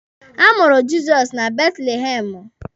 A mụrụ Jizọs na Betlihemụ.